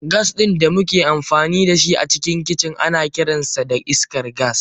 Gas din da muke amfani da shi a cikin kicin ana kiransa iskar gas.